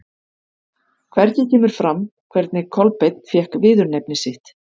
Hvergi kemur fram hvernig Kolbeinn fékk viðurnefni sitt.